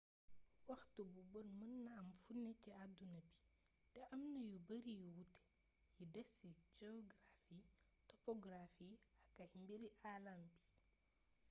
waxtu bu bon mën na am funé ci adduna bi té am na yu bëri yu wuuté yu desci geografi topografi ak ay mbiri aalam bi